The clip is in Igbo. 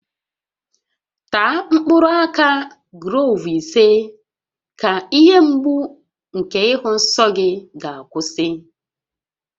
Taa mkpụrụ aka gloovu ise ka ihe mgbu nke ịhụ nsọ gị ga-akwụsị